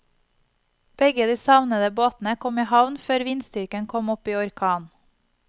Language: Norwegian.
Begge de savnede båtene kom i havn før vindstyrken kom opp i orkan.